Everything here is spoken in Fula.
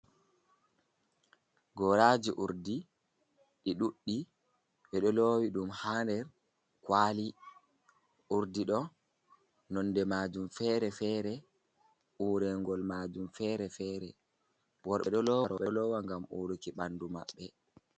"Goraji urdi"ɗi ɗuɗɗi ɓeɗo lowi ɗum ha nder kwali urdi ɗo nonde majum fere fere urengol majum fere fere worɓe ɗo lowa ngam uruki ɓandu maɓɓe.